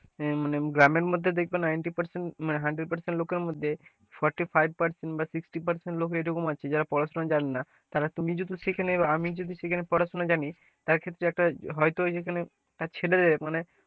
মানে গ্রামের মাঝে দেখবে ninety percent মানে hundred percent লোকেদের মধ্যে forty five percent বা sixty percent লোক এমন আছে যারা পড়াশোনা জানে না তারা তো নিজেদের সেখানে আমি যদি সেখানে পড়াশোনা জানি, হয়তো সেখানে তার ছেলেদের মানে,